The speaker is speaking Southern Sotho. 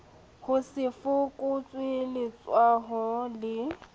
ho se fokotswe letshwao le